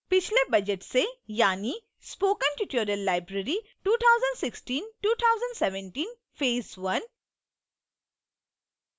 पिछले budget से यानि